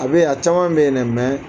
A bɛ yen a caman bɛ yen dɛ